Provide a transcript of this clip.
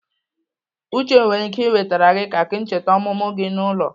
Uche nwere ike ị wetere gị keki ncheta ọmụmụ nke gị n'ụlọ.